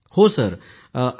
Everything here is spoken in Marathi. पूनम नौटियालः हांजी